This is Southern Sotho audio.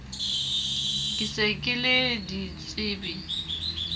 ke se ke le ditsebe